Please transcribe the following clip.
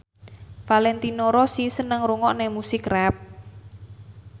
Valentino Rossi seneng ngrungokne musik rap